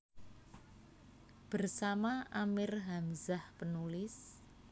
Bersama Amir Hamzah penulis